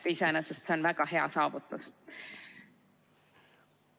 Iseenesest on see väga hea saavutus.